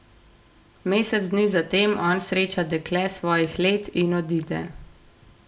Mesec dni zatem on sreča dekle svojih let in odide.